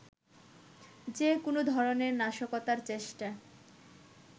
যে কোনো ধরনের নাশকতার চেষ্টা